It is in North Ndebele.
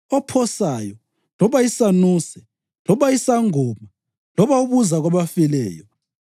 ophosayo, loba isanuse loba isangoma loba obuza kwabafileyo.